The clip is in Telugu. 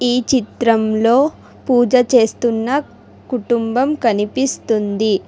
ఈ చిత్రంలో పూజ చేస్తున్న కుటుంబం కనిపిస్తుంది.